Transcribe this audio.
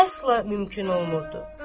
Əsla mümkün olmurdu.